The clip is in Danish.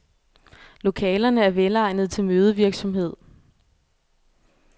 Lokalerne er velegnede til mødevirksomhed.